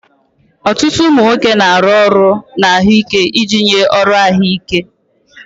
Ọtụtụ ụmụ nwoke na-arụ ọrụ na ahụike iji nye ọrụ ahụike.